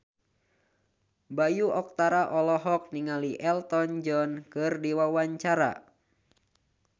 Bayu Octara olohok ningali Elton John keur diwawancara